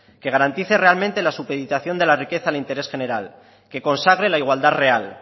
que garantice realmente la supeditación de la riqueza al interés general que consagre la igualdad real